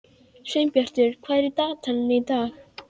Sveinbjartur, hvað er í dagatalinu í dag?